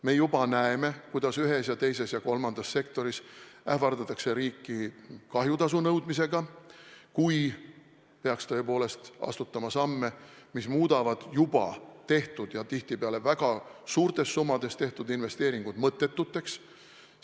Me juba näeme, kuidas ühes, teises ja kolmandas sektoris ähvardatakse riiki kahjutasu nõudmisega, kui peaks tõepoolest astutama samme, mis muudavad juba tehtud ja tihtipeale väga suurtes summades tehtud investeeringud mõttetuks.